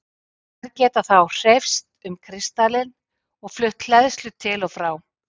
Þær geta þá hreyfst um kristallinn og flutt hleðslu til og frá.